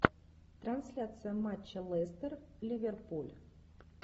трансляция матча лестер ливерпуль